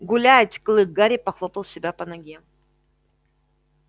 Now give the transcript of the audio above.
гулять клык гарри похлопал себя по ноге